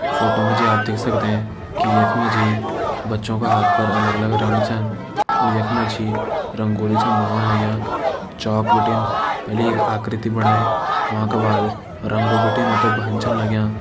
Photo मा जी आप देख सकदें की यख मा जी बच्चों का हाथ पर अलग अलग रंग छन यख मा जी रंगोली छन बनोड़ लग्यां चौक बिटिन पेली आकृति बणाई वांका बाद रंग बिटिन उं ते भर्न छन लग्यां।